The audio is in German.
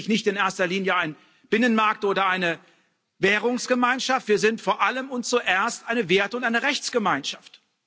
Wir sind nämlich nicht in erster Linie ein Binnenmarkt oder eine Währungsgemeinschaft, wir sind vor allem und zuerst eine Werte und eine Rechtsgemeinschaft.